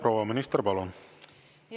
Proua minister, palun!